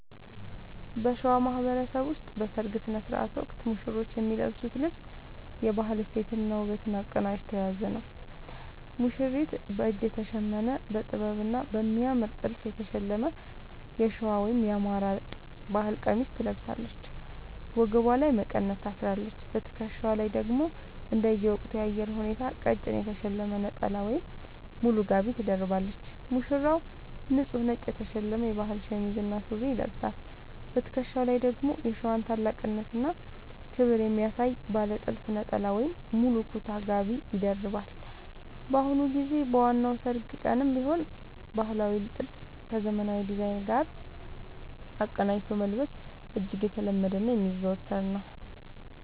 በሸዋ ማህበረሰብ ውስጥ በሠርግ ሥነ ሥርዓት ወቅት ሙሽሮች የሚለብሱት ልብስ የባህል እሴትንና ውበትን አቀናጅቶ የያዘ ነው፦ ሙሽሪት፦ በእጅ የተሸመነ: በጥበብና በሚያምር ጥልፍ የተሸለመ የሸዋ (የአማራ) ባህል ቀሚስ ትለብሳለች። ወገቧ ላይ መቀነት ታስራለች: በትከሻዋ ላይ ደግሞ እንደየወቅቱ የአየር ሁኔታ ቀጭን የተሸለመ ነጠላ ወይም ሙሉ ጋቢ ትደርባለች። ሙሽራው፦ ንጹህ ነጭ የተሸመነ የባህል ሸሚዝ እና ሱሪ ይለብሳል። በትከሻው ላይ ደግሞ የሸዋን ታላቅነትና ክብር የሚያሳይ ባለ ጥልፍ ነጠላ ወይም ሙሉ ኩታ (ጋቢ) ይደርባል። በአሁኑ ጊዜ በዋናው የሠርግ ቀንም ቢሆን ባህላዊውን ጥልፍ ከዘመናዊ ዲዛይን ጋር አቀናጅቶ መልበስ እጅግ የተለመደና የሚዘወተር ነው።